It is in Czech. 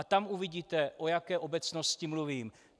A tam uvidíte, o jaké obecnosti mluvím.